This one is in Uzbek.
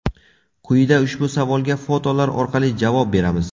Quyida ushbu savolga fotolar orqali javob beramiz.